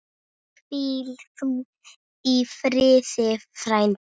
Hvíl þú í friði frændi.